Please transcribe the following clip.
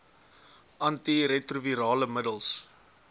anti retrovirale middels